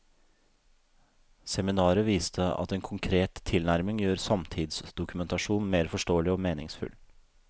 Seminaret viste at en konkret tilnærming gjør samtidsdokumentasjon mer forståelig og meningsfull.